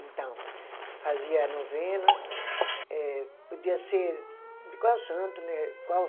Então, fazia a novena, eh podia ser de qual santo, né? Qual